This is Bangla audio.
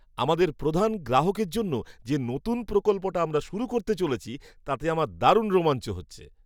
আমাদের প্রধান গ্রাহকের জন্য যে নতুন প্রকল্পটা আমরা শুরু করতে চলেছি, তাতে আমার দারুণ রোমাঞ্চ হচ্ছে।